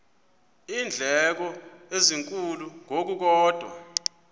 iindleko ezinkulu ngokukodwa